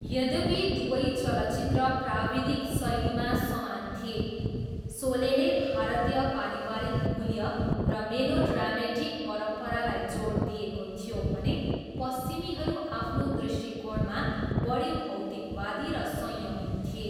यद्यपि दुवै चलचित्र प्राविधिक शैलीमा समान थिए, शोलेले भारतीय पारिवारिक मूल्य र मेलोड्रामेटिक परम्परालाई जोड दिएको थियो भने पश्चिमीहरू आफ्नो दृष्टिकोणमा बढी भौतिकवादी र संयमित थिए।